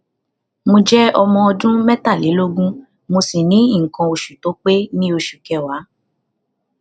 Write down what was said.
mo jẹ ọmọ ọdún mẹtàlélógún mo si ni ikan osu to pe ni osu keewa